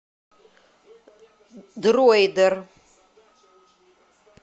дроидер